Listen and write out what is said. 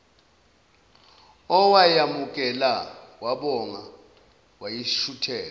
owayamukela wabonga wayishutheka